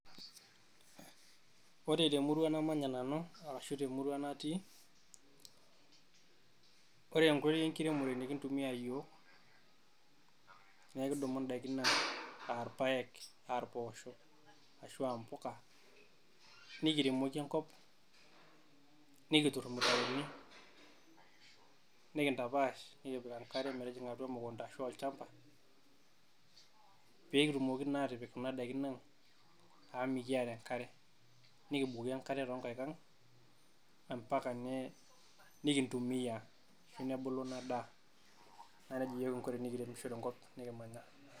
Ore te murua namanya nanu arashu te murua natii, ore enkoitoi e nkiremore nikintumiya iyiok. Naa ekidumu n`daiki aa irpaek, aa mpoosho, aa impuka nikiremoki enkop. Nikiturr irmutaroni nikintapaash. Nikipik enkare metijing`a atua emukunta arashu olchamba pee kitumoki naa atipik kuna n`daikin ang, amu mikiata enkare nikim`bukoo enkare too nkaik ang mpaka nikintumiya nebulu ina daa. Naa nejia iyiok kingo tenikiremisho tenkop nikimanya.